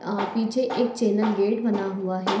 आ पीछे एक channel gate बना हुआ है।